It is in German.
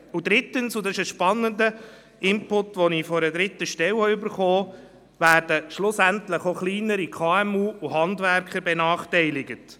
Und drittens, und das ist ein spannender Input, werden schlussendlich auch kleinere KMU und Handwerker benachteiligt.